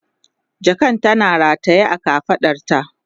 jakan tana rataye a kafaɗarta